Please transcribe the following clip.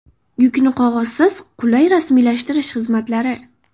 Yukni qog‘ozsiz qulay rasmiylashtirish xizmatlari.